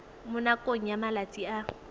mo nakong ya malatsi a